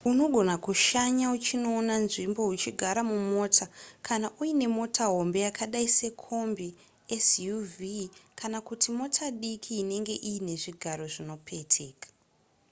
unogona kushanya uchinoona nzvimbo uchigara mumota kana uine mota hombe yakadai sekombi suv kana kuti mota diki inenge iine zvigaro zvinopeteka